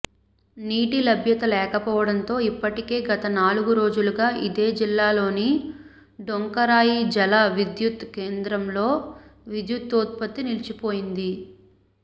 నీటి లభ్యత లేకపోవడంతో ఇప్పటికే గత నాలుగు రోజులుగా ఇదే జిల్లాలోని డొంకరాయి జల విద్యుత్ కేంద్రంలో విద్యుదుత్పత్తి నిలిచిపోయింది